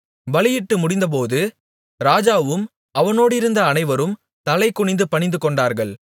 பலியிட்டு முடிந்தபோது ராஜாவும் அவனோடிருந்த அனைவரும் தலைகுனிந்து பணிந்துகொண்டார்கள்